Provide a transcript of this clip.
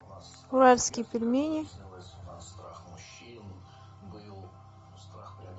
уральские пельмени